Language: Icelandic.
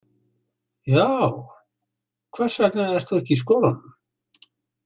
Já, hvers vegna ert þú ekki í skólanum?